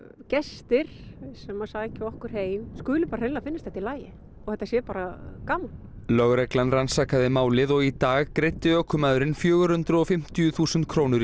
gestir sem sækja okkur heim skuli hreinlega finnast þetta í lagi og þetta sé bara gaman lögreglan rannsakaði málið og í dag greiddi ökumaðurinn fjögur hundruð og fimmtíu þúsund krónur í